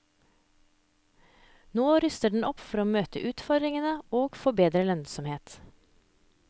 Nå ruster den opp for å møte utfordringene og få bedre lønnsomhet.